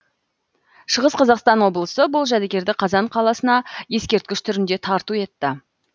шығыс қазақстан облысы бұл жәдігерді қазан қаласына ескерткіш түрінде тарту етті